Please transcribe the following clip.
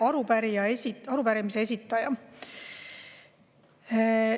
Lugupeetud arupärimise esitaja!